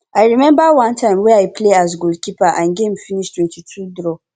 i remember one time wey i play as goal keeper and game finish 22 draw